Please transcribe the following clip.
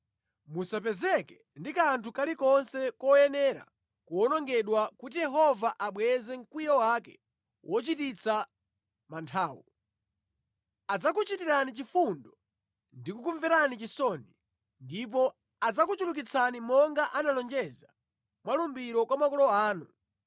Musapezeke ndi kanthu kalikonse koyenera kuwonongedwa kuti Yehova abweze mkwiyo wake wochititsa manthawu. Adzakuchitirani chifundo ndi kukumverani chisoni, ndipo adzakuchulukitsani monga analonjeza mwa lumbiro kwa makolo anu,